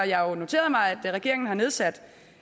jeg noteret mig at regeringen har nedsat